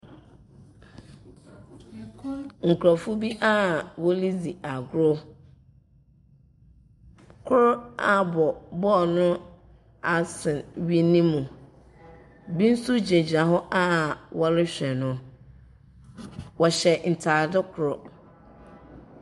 Nkurɔfoɔ bi a woridzi agorɔ. Kor abɔ ball no asɛn wini no mu. Bi nso gyinagyina hɔ a wɔrehwɛ no. wɔhyɛ ntade kor.